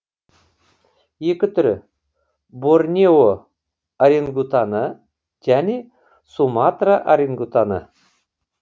екі түрі борнео орангутаны және суматра орангутаны